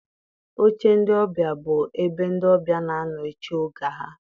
Oche ndị ọbịa bụ ebe ndị ọbịa n'anọ eche oge ha.